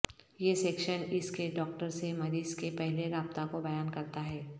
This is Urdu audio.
یہ سیکشن اس کے ڈاکٹر سے مریض کے پہلے رابطہ کو بیان کرتا ہے